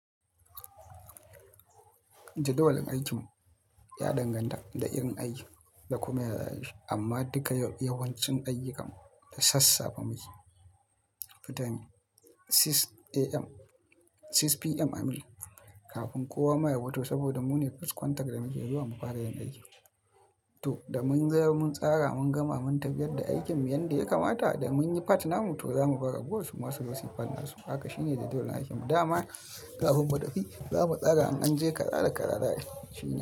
Jadawalin aikinmu ya danganta da irin aikin da kuma yanayi amma duka yawancin ayyukanmu da sassafe muke 6pm i mean kafin kowa mayar wato saboda mu ne first contact da muke zuwa mufara yan aiki. To da mun zama mun tsara mun gama mun tafiyar da aikin yanda ya kamata da mun yi part namu to zamu bawa ragowar suma suzo yi part farin hakan shine jadawalin aikinmu da ama kafin mutafi zamu tsara in anje kaza da kaza za ai shine.